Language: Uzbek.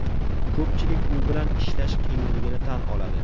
Ko‘pchilik u bilan ishlash qiyinligini tan oladi.